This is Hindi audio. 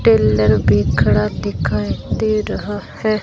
टेलर भी खड़ा दिखाई दे रहा है।